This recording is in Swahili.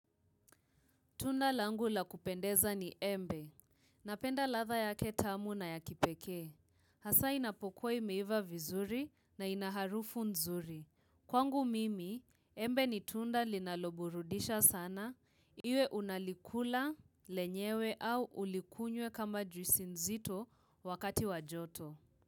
Tunda langu la kupendeza ni embe. Napenda ladha yake tamu na ya kipekee. Hasa inapokwe imeiva vizuri na ina harufu nzuri. Kwangu mimi, embe ni tunda linaloburudisha sana. Iwe unalikula, lenyewe au ulikunye kama juisi nzito wakati wa joto.